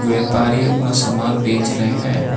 व्यापारी अपना सामान बेच रहे हैं।